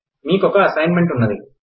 మీకోక assignment ఉన్నది